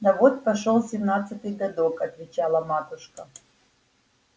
да вот пошёл семнадцатый годок отвечала матушка